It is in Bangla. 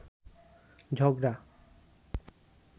ঝগড়া